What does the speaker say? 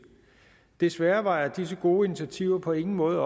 desværre opvejer disse gode initiativer på ingen måde